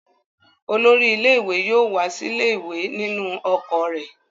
Olórí ilé-ìwé yóò wá sílé ìwé nínú ọkọ̀ rẹ̀.